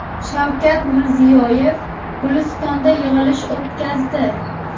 Shavkat Mirziyoyev Gulistonda yig‘ilish o‘tkazdi.